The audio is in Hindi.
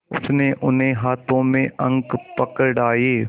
उसने उन्हें हाथों में अंक पकड़ाए